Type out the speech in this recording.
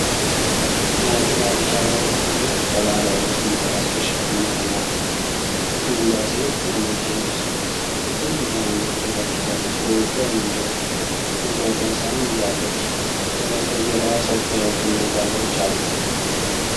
የሐይቅ ዳርቻ ላይ ሁለት ሴቶች በባህላዊ ልብስና የራስ መሸፈኛ ቆመዋል። አንዷ ሴት በነጭ ልብስ ትልቅ የአንገት ጌጥ አድርጋለች፤ በእጇ የእንጨት ጎድጓዳ ሳህን ይዛለች። ከበስተጀርባ ሰፊ ሐይቅና ዛፎች አሉ።